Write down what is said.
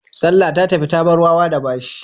Salla ta tafi ta bar wawa da bashi.